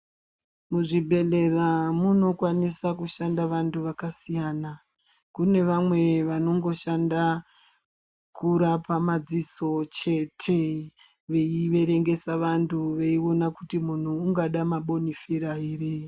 Muzvibhedhlera munokwanisa kushanda vantu vakasiyana. Kunevamwe vanongoshanda kurapa madziso chete, veyiverengesa vantu, veyiwona kuti muntu ungada mabonifera here.